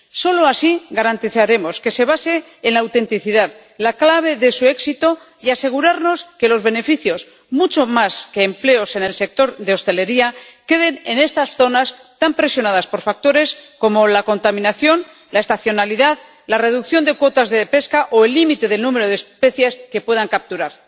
Solo así garantizaremos que se base en la autenticidad —la clave de su éxito— y nos aseguraremos de que los beneficios, mucho más que empleos en el sector de hostelería, queden en estas zonas tan presionadas por factores como la contaminación, la estacionalidad, la reducción de cuotas de pesca o el límite del número de especies que puedan capturar.